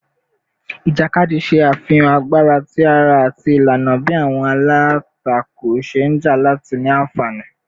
Ijakadi ṣe afihan agbara ti ara ati ilana bi awọn alatako ṣe nja lati ni anfani